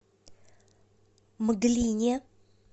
мглине